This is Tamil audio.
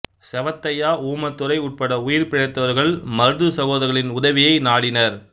செவத்தையா ஊமைத்துரை உட்பட உயிர்பிழைத்தவர்கள் மருது சகோதரர்களின் உதவியை நாடினர்